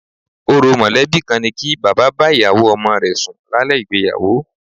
Orò mọ̀lẹ́bí kan ni kí bàbá bá ìyàwó ọmọ rẹ sùn lálẹ́ ìgbéyàwó